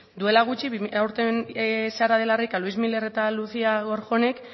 duela gutxi aurten sara de la rica luís miller y lucía gorjónek